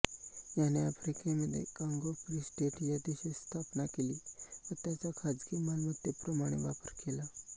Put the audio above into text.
याने आफ्रिकेमध्ये काँगो फ्री स्टेट या देशाची स्थापना केली व त्याचा खाजगी मालमत्तेप्रमाणे वापर केला